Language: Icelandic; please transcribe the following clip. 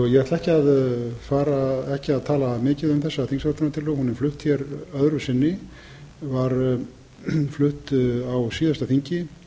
ég ætla ekki að tala mikið um þessa þingsályktunartillögu hún er flutt hér öðru sinni var flutt á síðasta þingi